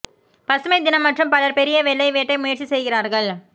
பசுமை தினம் மற்றும் பலர் பெரிய வெள்ளை வேட்டை முயற்சி செய்கிறார்கள்